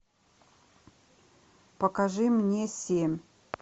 покажи мне семь